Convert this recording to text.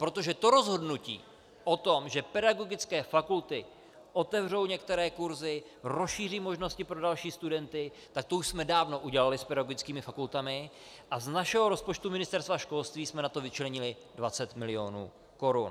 Protože to rozhodnutí o tom, že pedagogické fakulty otevřou některé kursy, rozšíří možnosti pro další studenty, tak to už jsme dávno udělali s pedagogickými fakultami, a z našeho rozpočtu Ministerstva školství jsme na to vyčlenili 20 milionů korun.